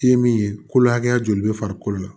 I ye min ye kolo hakɛya joli bɛ farikolo la